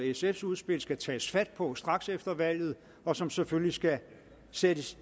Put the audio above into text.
sfs udspil skal tages fat på straks efter valget og som selvfølgelig skal sættes